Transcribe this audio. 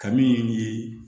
Ka min ɲini